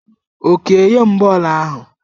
Okey nye m bọọlụ ahụ!